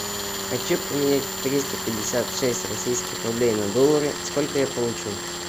хочу поменять триста пятьдесят шесть российских рублей на доллары сколько я получу